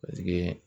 Paseke